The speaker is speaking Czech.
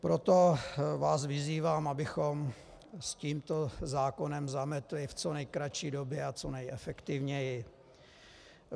Proto vás vyzývám, abychom s tímto zákonem zametli v co nejkratší době a co nejefektivněji.